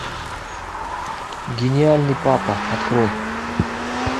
гениальный папа открой